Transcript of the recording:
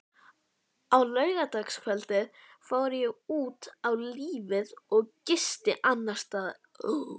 Á laugardagskvöldið fór ég út á lífið og gisti annarsstaðar.